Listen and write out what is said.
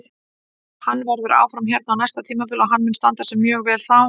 Hann verður áfram hérna á næsta tímabili og hann mun standa sig mjög vel þá.